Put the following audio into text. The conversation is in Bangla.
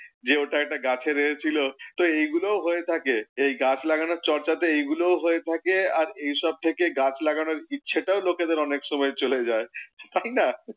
যে ওটা একটা গাছের ইয়ে ছিলো। তো এগুলোও হয়ে থাকে। এই গাছ লাগানোর চর্চাতে এইগুলোও হয়ে থাকে। আর এইসব থেকে গাছ লাগানোর ইচ্ছেটাও লোকেদের অনেক সময় চলে যায়। তাই না?